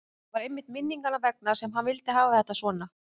Það var einmitt minninganna vegna sem hann vildi hafa þetta svona.